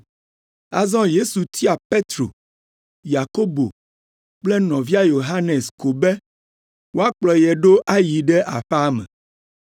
Azɔ Yesu tia Petro, Yakobo kple nɔvia Yohanes ko be woakplɔ ye ɖo ayi ɖe aƒea me.